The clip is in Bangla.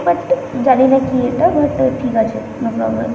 বাট জানিনা কি এটা বাট ঠিক আছে নো প্রব্লেম ।